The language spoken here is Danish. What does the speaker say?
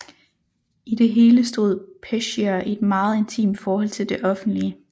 I det hele stod Peschier i et meget intimt forhold til det offentlige